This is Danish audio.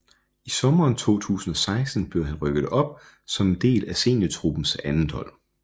I sommeren 2016 blev han rykket op som en del af seniortruppens andethold